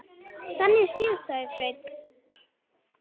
Þannig séð, sagði Sveinn.